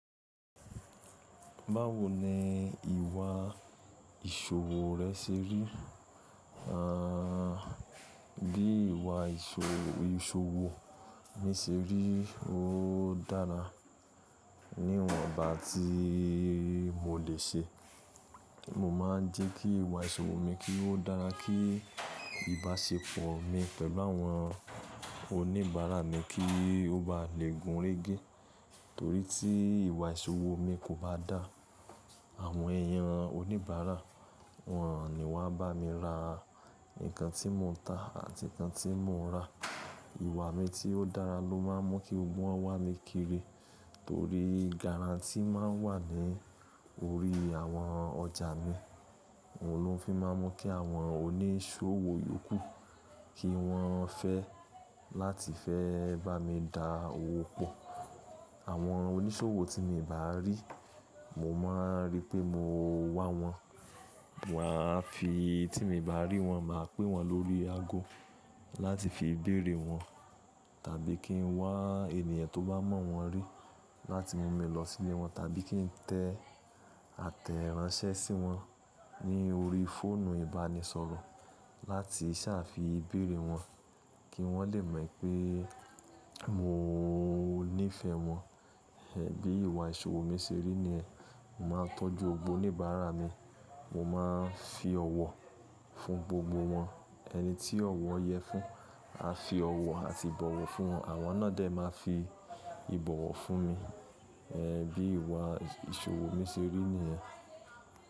Báwo ni ìwà ìṣòwò rẹ ṣe rí? Àn, bí ìwà ìṣòwò mi ṣe rí, ó dára ní iwòǹbà tí mo lè ṣe. Mo má ń jẹ́ kí ìwà ìṣòwò mi kí ó dára, kí ìbáṣepọ̀ mi pẹ̀lú àwọn oníbàárà mi kí ó ba lè gúnrégé. Torí tí ìwà ìṣòwò mi kò bá dáa, àwọn èèyàn oníbàárà, wọ́n ò ní wá bá mi ra nǹkan tí mo ń tà àti nǹkan tí mo ń rà. Ìwà mi tí ó dára ló má ń mú kí gbogbo won wa mí kiri, torí guarantee má ń wà ní orí àwọn ọjà mi. Ó ló fi má ń mú kí àwọn oníṣòwò yókù, kí wọ́n fẹ́ láti fẹ́ bá mi dá owó pọ̀. Àwọn oníṣòwò tí mi ò bá rí, mo má ń rí pé mo wá wọn. Wà á fi tí mi bá rí wọn, mà á pẹ́ wọ́n lórí ago láti fi béèrè wọ́n. Tàbí kí n wá ènìyàn tó bá mọ̀ wọ́n rí láti mú mi lọ sílé wọn, tàbí kí ń tẹ àtẹ̀ránsẹ́ sí wọn ní orí fóònù ìbánisọ̀rọ̀ láti ṣàfi béèrè wọn kí wọ́n lè mọ̀ pé mo nífẹ̀ẹ́ wọn. E bí ìwà ìṣòwò mi ṣe rí ni ẹ́. Mo má ń tọ́jú gbogbo oníbàárà mi, mo má ń fi ọ̀wọ̀ fún gbogbo wọn. Ẹni tí ọ̀wọ̀ yẹ fún, a fi ọ̀wọ̀ àti ìbọ̀wọ̀ fún wọn, àwọn náà jẹ́ ẹ máa fi ìbọ̀wọ̀ fún mi. E bí ìwà ìṣòwò mi ṣe rí ni ẹ́.